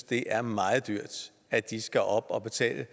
det er meget dyrt at de skal op og betale